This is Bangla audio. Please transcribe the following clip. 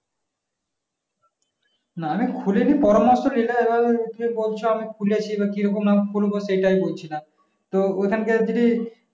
না আমি খুলেনি পরামর্শ নিলা এবার তুমি আমি খুলেছি এবার কি রকম নাম খুলবো সেটাই বলছিলাম তো ওখান কে যদি